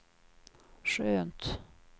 skönt